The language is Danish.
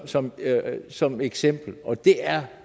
som som eksempel og det er